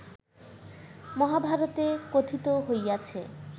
মহাভারতে কথিত হইয়াছে